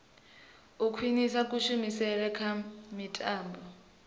u khwinisa kushumele kha mitambo